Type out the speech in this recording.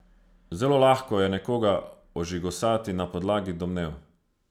Zelo lahko je nekoga ožigosati na podlagi domnev.